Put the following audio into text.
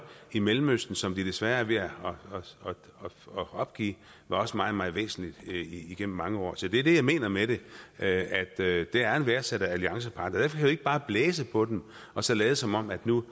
i mellemøsten som de desværre er ved at opgive var også meget meget væsentlig igennem mange år så det er det jeg mener med at det er en værdsat alliancepartner derfor ikke bare blæse på dem og så lade som om de nu